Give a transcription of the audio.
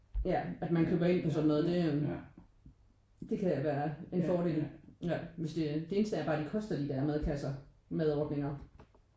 Ja at man køber ind på sådan noget det øh det kan da være en fordel hvis det det eneste er bare hvad de koster de der madkasser madordninger